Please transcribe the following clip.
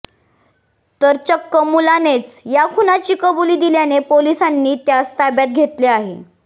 तर चक्क मुलानेच या खुनाची कबुली दिल्याने पोलिसांनी त्यास ताब्यात घेतले आहे